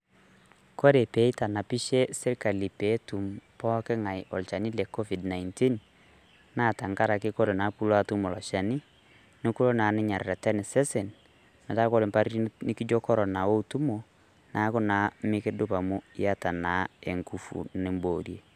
Kore pee eitanapishe sirkali pee etum pooki ng'ai olchani le Covid-19, naa tanga'araki kore naa puloo atum lo lchani nikuloo naa ninye areten sesen metaa kore mpaari nikijoo korona owuon tumo naaku naa niduup amu ieta naa enguvu niboorie.